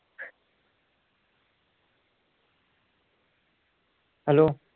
hello